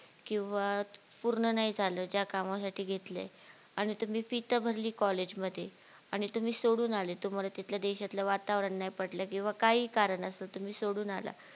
किंवा पूर्ण नाही झाल ज्या कामासाठी घेतलेय आणि तुम्ही FEE तर भरली college मध्ये आणि तुम्ही सोडून आलेत तुम्हाला तिथल्या देशातले वातावरण नाही पटले किंवा काही कारण असले तर तुम्ही सोडून आला